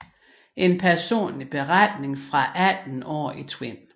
En personlig beretning fra 18 år i Tvind